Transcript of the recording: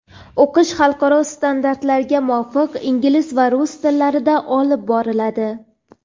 O‘qish xalqaro standartlarga muvofiq ingliz va rus tillarida olib boriladi.